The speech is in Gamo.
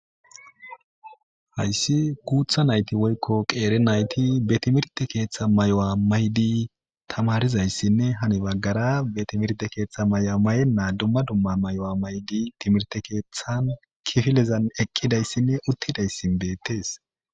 Hayssi guutha naytti woyko qeeri nayti be timirte keththa maayo mayidi tamarizaysine hani baggara be timirte keththa mayo mayene dumma dumma mayo mayidi timirte keththan kiffilezan eqqidaysine uttidays bettes.